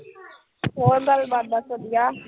ਹੋਰ ਗੱਲਬਾਤ ਬਸ ਵਧੀਆ।